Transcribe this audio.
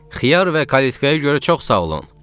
Xiyar və kalitkaya görə çox sağ olun.